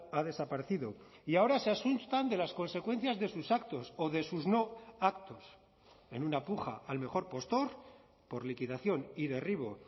ha desaparecido y ahora se asustan de las consecuencias de sus actos o de sus no actos en una puja al mejor postor por liquidación y derribo